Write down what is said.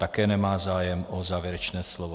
Také nemá zájem o závěrečné slovo.